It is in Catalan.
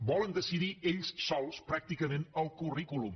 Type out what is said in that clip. volen decidir ells sols pràcticament el currículum